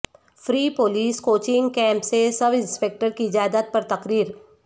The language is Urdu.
فری پولیس کوچنگ کیمپ سے سب انسپکٹر کی جائیداد پر تقرر